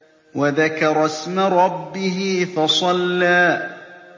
وَذَكَرَ اسْمَ رَبِّهِ فَصَلَّىٰ